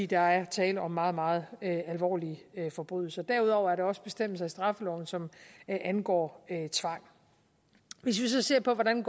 der er tale om meget meget alvorlige forbrydelser derudover er der også bestemmelser i straffeloven som angår tvang hvis vi så ser på hvordan